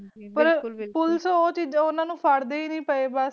ਪਰ ਪੁਲਿਸ ਓਹਨਾ ਨੂੰ ਫੇਰਦੇ ਹੈ ਨਹੀਂ ਪਈ